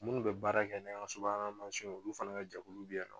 Minnu bɛ baara kɛ ni an ka subahana mansinw ye olu fana ka jɛkulu bɛ yen nɔ